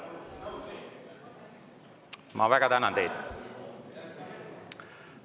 Ma väga tänan teid!